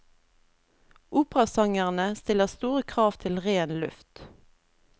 Operasangerne stiller store krav til ren luft.